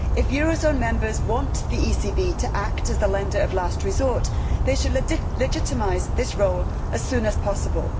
If euro zone members want the ECB to act as the lender of last resort, they should legitimise this role as soon as possible.